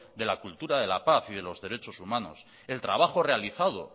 de la cultura de la paz y de los derechos humanos el trabajo realizado